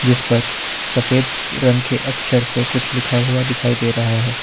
इस पर सफेद रंग के अक्षर से कुछ लिखा हुआ दिखाई दे रहा है।